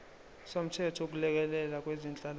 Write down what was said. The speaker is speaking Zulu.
somthetho wokulekelela kwezenhlalakahle